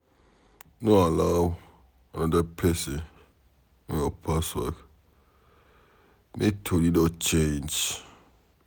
No allow anoda pesin to know your password, make tori no change.